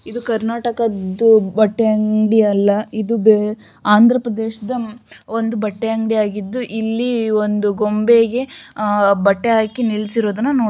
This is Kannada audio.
ಇದು ಕರ್ನಾಟಕದ್ದು ಬಟ್ಟೆ ಅಂಗಡಿ ಅಲ್ಲ. ಇದು ಬೇ ಆಂಧ್ರಪ್ರದೇಶದ ಒಂದು ಬಟ್ಟೆ ಅಂಗಡಿ ಯಾಗಿದ್ದು. ಇಲ್ಲಿ ಒಂದು ಗೊಂಬೆಗೆ ಆಹ್ ಬಟ್ಟೆ ಹಾಕಿ ನಿಲ್ಸಿರುವುದನ್ನ ನೋಡ --